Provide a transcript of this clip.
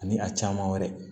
Ani a caman wɛrɛ